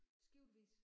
Skiftevis